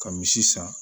Ka misi san